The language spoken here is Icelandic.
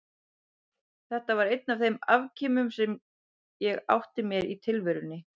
Þetta var einn af þeim afkimum sem ég átti mér í tilverunni.